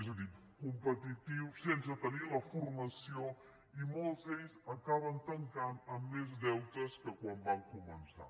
és a dir competitiu sense tenir la formació i molts d’ells acaben tancant amb més deutes que quan van començar